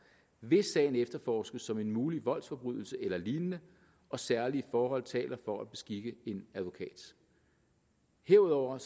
hvis sagen efterforskes som en mulig voldsforbrydelse eller lignende og særlige forhold taler for at beskikke en advokat herudover